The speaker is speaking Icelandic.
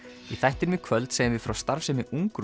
í þættinum í kvöld segjum við frá starfsemi